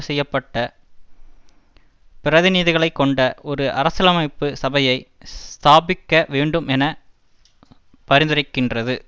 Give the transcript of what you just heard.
செய்ய பட்ட பிரதிநிதிகளை கொண்ட ஒரு அரசியலமைப்பு சபையை ஸ்தாபிக்க வேண்டும் என பரிந்துரைக்கின்றது